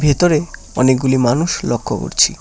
ভিতরে অনেকগুলি মানুষ লক্ষ্য করছি।